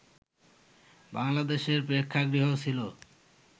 বাংলাদেশে প্রেক্ষাগৃহ ছিল